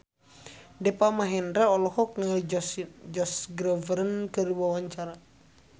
Deva Mahendra olohok ningali Josh Groban keur diwawancara